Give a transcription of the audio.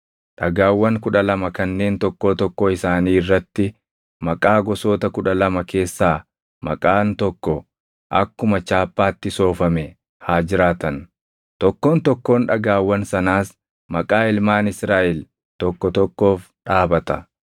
Dhagaawwan kudha lama kanneen tokkoo tokkoo isaanii irratti maqaa gosoota kudha lama keessaa maqaan tokko akkuma chaappaatti soofame haa jiraatan; tokkoon tokkoon dhagaawwan sanaas maqaa ilmaan Israaʼel tokko tokkoof dhaabata.